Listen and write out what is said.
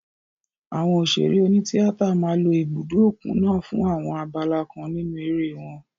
Àwọn òṣèré oní tíátà máa lo ibùdó òkun naa fún àwọn abala kan nínú eré wọn.